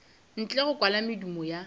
ntle go kwala medumo ya